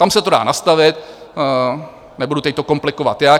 Tam se to dá nastavit, nebudu teď to komplikovat jak.